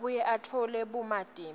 abuye atfole bumatima